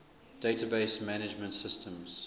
database management systems